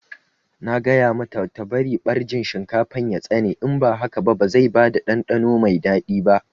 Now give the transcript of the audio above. Na gaya mata ta bari ɓarjin shinkafar ya tsane in ba haka ba zai bada ɗanɗano mai daɗi ba